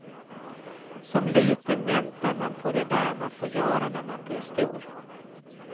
Som liten väntar man på det där man får göra när man blir stor.